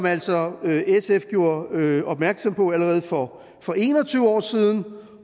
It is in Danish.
altså gjorde opmærksom på allerede for for en og tyve år siden